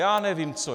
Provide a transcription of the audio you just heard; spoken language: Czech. Já nevím co.